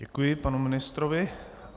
Děkuji panu ministrovi.